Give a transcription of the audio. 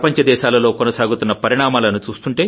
ప్రపంచ దేశాలలో కొనసాగుతున్న పరిణామాలను